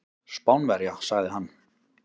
Spánverja, sagði hann.